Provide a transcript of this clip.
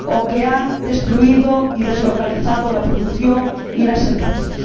o que han destruido y deslocalizado la producción y las empresas.